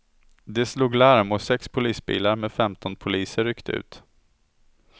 De slog larm och sex polisbilar med femton poliser ryckte ut.